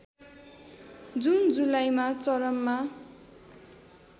जून जुलाईमा चरममा